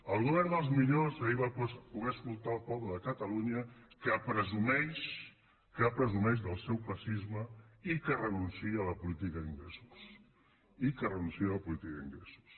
el govern dels millors ahir va poder escoltar el poble de catalunya que presumeix que en presumeix del seu classisme i que renuncia a la política d’ingressos i que renuncia a la política d’ingressos